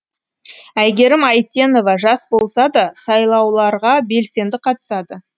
әйгерім әйтенова жас болса да сайлауларға белсенді қатысады